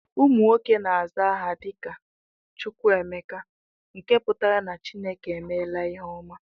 Ụmụ nwoke na-aza aha dị ka "Chukwuemeka" nke pụtara na Chineke emela ihe ọma